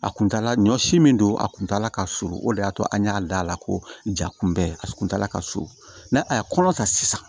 A kuntala ɲɔ si min don a kun t'a la ka surun o de y'a to an y'a da la ko jaa kun bɛɛ a kun t'a la ka so a ye kɔnɔ ta sisan